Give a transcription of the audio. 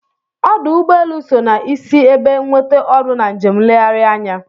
Ọ́dụ̀ ụ́gbọelụ́ so na-isi ebe nwete ọrụ na njem nlegharị anya.